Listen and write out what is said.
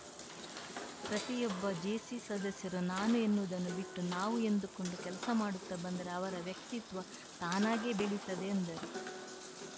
ಪ್ರತಿಯೊಬ್ಬ ಜೇಸಿ ಸದಸ್ಯರು ನಾನು ಎನ್ನುವುದನ್ನು ಬಿಟ್ಟು ನಾವು ಎಂದುಕೊಂಡು ಕೆಲಸ ಮಾಡುತ್ತ ಬಂದರೆ ಅವರ ವ್ಯಕ್ತಿತ್ವ ತಾನಾಗೇ ಬೆಳೆಯತ್ತದೆ ಎಂದರು